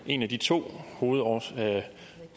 en af de to